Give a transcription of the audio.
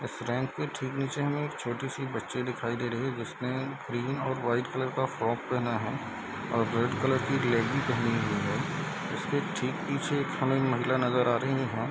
इस रैंक के ठीक नीचे हमे एक छोटी सी बच्ची दिखाई दे रही है जिसने क्रीम और वाइट कलर का फ्रॉक पहना है और रेड कलर की लेगी पहनी हुई है। उसके ठीक पीछे हमे एक महिला नजर आ रही है यहाँ |